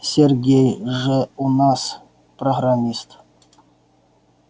сергей же у нас программист